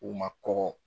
U ma kɔkɔ